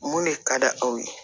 Mun de ka d'a aw ye